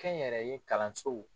Kɛnyɛrɛye kalansow